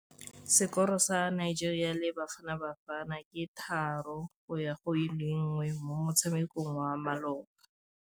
Sekôrô sa Nigeria le Bafanabafana ke 3-1 mo motshamekong wa malôba.